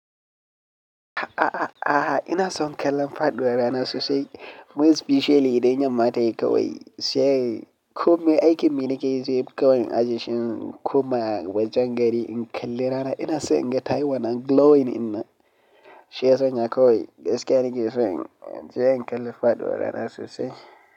A'a, a'a, ina son kallon faɗuwar rana sosai. More specially idan yamma ta yi kawai, sai kome aikin mi ni kai zai fi kawai ajeshi kuma wajen gari in kalli rana ina so in ga tai wannan glowing in na shiya sanya kawai gaskiya ni ke so in je in kalli fadua rana sosai.